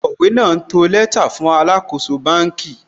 Akọ̀wé náà ń to lẹ́tà fún alàkóso bánkì